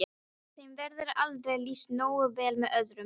Þeim verður aldrei lýst nógu vel með orðum.